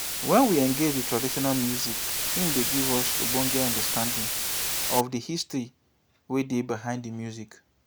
when we engage with traditional music im dey give us ogbonge understanding of di history wey dey behind di music